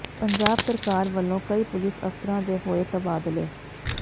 ਪੰਜਾਬ ਸਰਕਾਰ ਵਲੋਂ ਕਈ ਪੁਲਿਸ ਅਫ਼ਸਰਾਂ ਦੇ ਹੋਏ ਤਬਾਦਲੇ